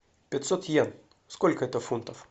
пятьсот йен сколько это фунтов